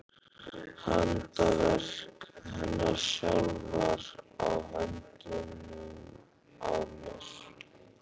Handaverk hennar sjálfrar á höndunum á mér!